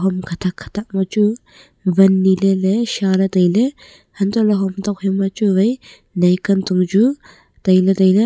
hom khathak khathak ma chu wan ne ley seh ley tailey antoh hom thophe ma chu nai kan ton chu tailey tailey.